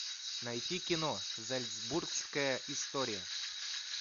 найти кино зальцбургская история